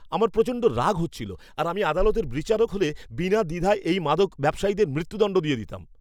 আমার প্রচণ্ড রাগ হচ্ছিল আর আমি আদালতের বিচারক হলে বিনা দ্বিধায় এই মাদক ব্যবসায়ীদের মৃত্যুদণ্ড দিয়ে দিতাম!